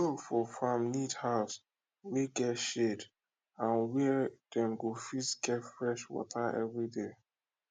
di dog for farm need house wey get shade and where dem go fit get fresh water everyday